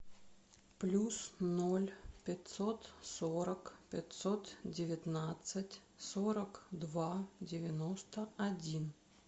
плюс ноль пятьсот сорок пятьсот девятнадцать сорок два девяносто один